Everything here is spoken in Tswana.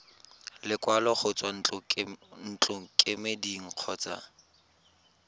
lekwalo go tswa ntlokemeding kgotsa